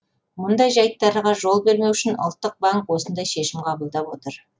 мұндай жайттарға жол бермеу үшін ұлттық банк осындай шешім қабылдап отыр